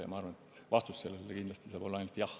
Ma arvan, et vastus sellele küsimusele saab olla ainult jah.